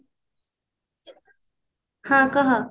ହଁ କହ